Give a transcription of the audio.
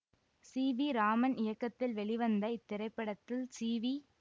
C V Raman இயக்கத்தில் வெளிவந்த இத்திரைப்படத்தில் சி வி